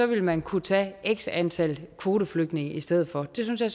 vil man kunne tage x antal kvoteflygtninge i stedet for det synes jeg